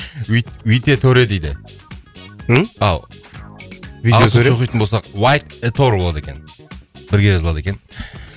витеторэ дейді ммм витеторэ ағылшынша оқитын болсақ уайтэтор болады екен бірге жазылады екен